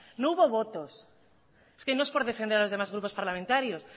no hubo votos es que no es por defender a los demás grupos parlamentarios